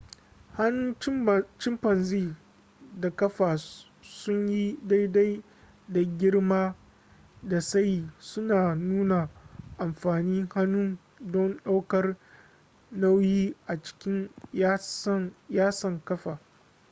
hannun chimpanzee da ƙafa sun yi daidai da girma da tsayi suna nuna amfanin hannun don ɗaukar nauyi a cikin yatsan ƙafa